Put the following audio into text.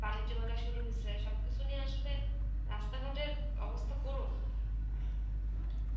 বাণিজ্য মেলা শুরু হইছে, সবকিছু নিয়ে আসলে রাস্তাঘাটের অবস্থা করুণ.